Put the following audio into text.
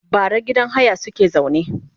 bara gidan haya suke zaune